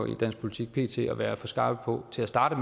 i dansk politik pt at være for skarpe på til at starte